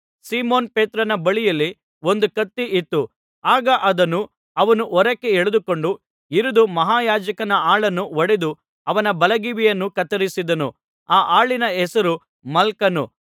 Simon ಪೇತ್ರನ ಬಳಿಯಲ್ಲಿ ಒಂದು ಕತ್ತಿ ಇತ್ತು ಆಗ ಅದನ್ನು ಅವನು ಹೊರಕ್ಕೆ ಎಳೆದುಕೊಂಡು ಹಿರಿದು ಮಹಾಯಾಜಕನ ಆಳನ್ನು ಹೊಡೆದು ಅವನ ಬಲಗಿವಿಯನ್ನು ಕತ್ತರಿಸಿದನು ಆ ಆಳಿನ ಹೆಸರು ಮಲ್ಕನು